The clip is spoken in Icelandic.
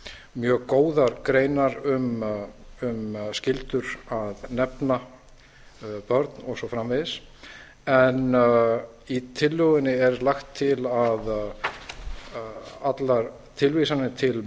mjög góðar greinar um skyldur að nefna börn og svo framvegis en í tillögunni er lagt til að allar tilvísanir til